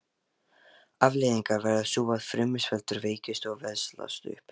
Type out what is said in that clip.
Afleiðingin verður sú að fruman sveltur, veikist og veslast upp.